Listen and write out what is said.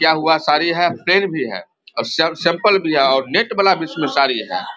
क्या हुआ साडी है और भी है और सब सैंपल भी है और नेट वाला भी इसमें साड़ी है।